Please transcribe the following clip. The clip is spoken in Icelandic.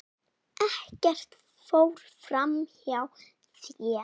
Ekkert fór fram hjá þér.